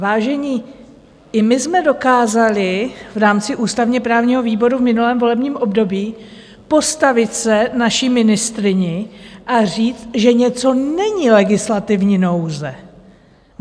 Vážení, i my jsme dokázali v rámci ústavně-právního výboru v minulém volebním období postavit se naší ministryni a říct, že něco není legislativní nouze.